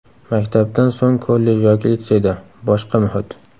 Maktabdan so‘ng kollej yoki litseyda – boshqa muhit.